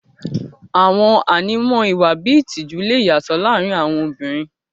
Àwọn ànímọ́ ìwà bíi ìtìjú lè yàtọ̀ láàrin àwọn obìnrin.